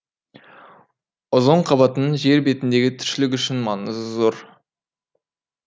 озон қабатының жер бетіндегі тіршілік үшін маңызы зор